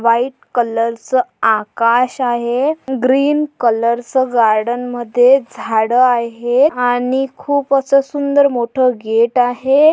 White colour च आकाश आहे ग्रीन कलरच गार्डन मध्ये झाड आहे आणि खूप आस सुंदर मोठ गेट आहे.